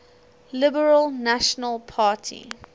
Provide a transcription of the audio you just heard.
liberal national party